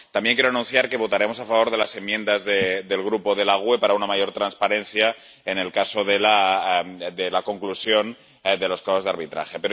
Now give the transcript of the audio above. También quiero anunciar que votaremos a favor de las enmiendas del Grupo GUE NGL para una mayor transparencia en el caso de la conclusión de los casos de arbitraje.